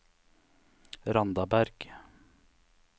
Randaberg